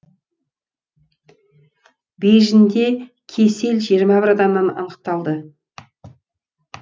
бейжіңде кесел жиырма бір адамнан анықталды